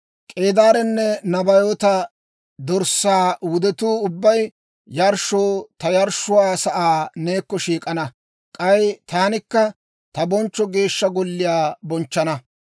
K'eedaarenne Nabaayoota dorssaa wudetuu ubbay yarshshoo ta yarshshuwaa sa'aa neekko shiik'ana; k'ay taanikka ta bonchcho Geeshsha Golliyaa bonchchana.